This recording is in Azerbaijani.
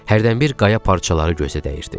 Hərdən bir qaya parçaları gözə dəyirdi.